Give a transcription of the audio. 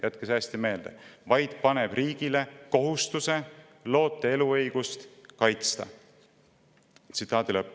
" Jätke see hästi meelde: vaid paneb riigile kohustuse loote eluõigust kaitsta.